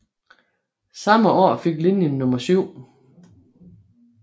Samme år fik linjen nummer 7